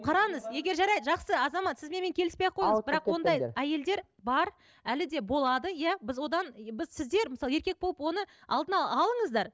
қараңыз егер жарайды жақсы азамат сіз менімен келіспей ақ қойыңыз бірақ ондай әйелдер бар әлі де болады иә біз одан біз сіздер мысалы еркек болып оны алдын алыңыздар